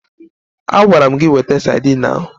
Agwara m gị weta sadin ahụ!